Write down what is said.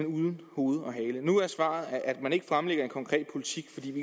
uden hoved og hale nu er svaret at man ikke fremlægger en konkret politik